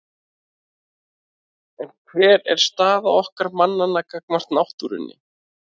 En hver er staða okkar mannanna gagnvart náttúrunni?